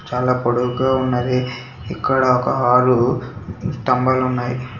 చాలా పొడువు గా ఉన్నాది ఇక్కడ ఒక ఆరు స్థాబాలు ఉన్నాయి.